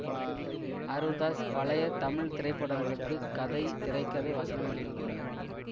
ஆரூர் தாஸ் பழைய தமிழ் திரைப்படங்களுக்கு கதை திரை கதை வசனம் எழுதியுள்ளார்